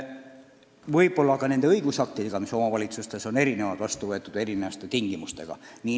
Võib-olla on teatud õigusaktid omavalitsustes erinevad, vastu võetud erinevate tingimustega.